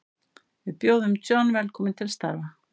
Við bjóðum John velkominn til starfa.